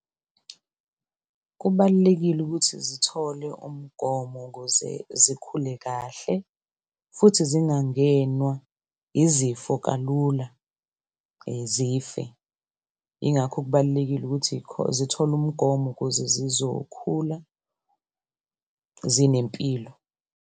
Kubalulekile ukuthi zithole umgomo kuze zikhule kahle futhi zingangenwa izifo kalula, zife. Yingakho kubalulekile ukuthi zithole umgomo ukuze zizokhula zinempilo.